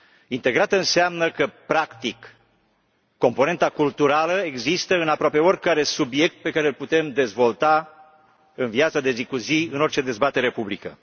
Integrată înseamnă că, practic, componenta culturală există în aproape oricare subiect pe care îl putem dezvolta în viața de zi cu zi în orice dezbatere publică.